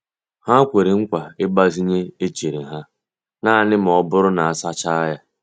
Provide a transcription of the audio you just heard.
Ha kwere nkwa ịgbazinye echere ha naanị ma ọ bụrụ na a sachaa ya.